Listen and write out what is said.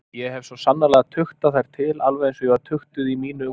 Ég hef svo sannarlega tuktað þær til alveg einsog ég var tuktuð í mínu ungdæmi.